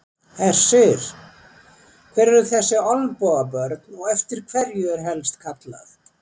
Hersir, hver eru þessi Olnbogabörn og eftir hverju er helst kallað?